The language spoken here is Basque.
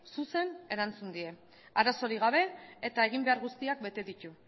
zuzen erantzun die arazorik gabe eta eginbehar guztiak bete ditu